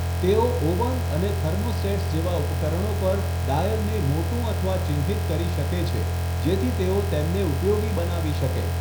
તેઓ ઓવન અને થર્મોસ્ટેટ્સ જેવા ઉપકરણો પર ડાયલને મોટું અથવા ચિહ્નિત કરી શકે છે જેથી તેઓ તેમને ઉપયોગી બનાવી શકે.